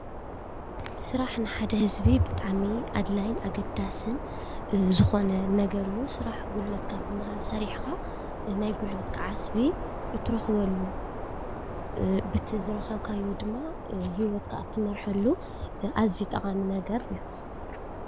ስራሕ ንሕሓደ ህዝቢ ብጣዕሚ አድላዪን አገዳስን ዝኮነ ነገር እዩ። ስራሕ ጉልበትካ ድማ ሰሪሕካ ብናይ ጉልበትካ ዓስቢ እትረክበሉ በቲ ዝረከብካዮ ድማ ሂወትካ እትመርሐሉ ኣዝዩ ጠቃሚ ነገር እዩ።